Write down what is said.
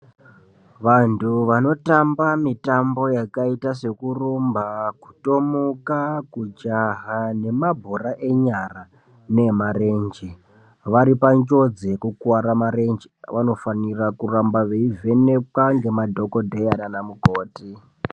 Vantu vanotamba mitambo yakaita sekurumba, kutomuka, kujaha ngemabhora enyara neemarenje varipanjodzi yekukuware marenje vanofanira kuramba veivhenekwa ngemadhokodheya nana mukoti.